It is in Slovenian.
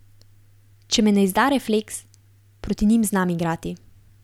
Če me ne izda refleks, proti njim znam igrati.